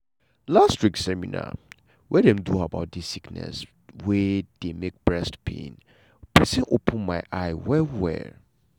last week seminar wey dem do about dis sickness wey dey make breast pain pesin open my eyes well well.